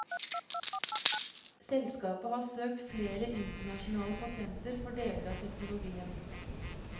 Selskapet har søkt flere internasjonale patenter for deler av teknologien.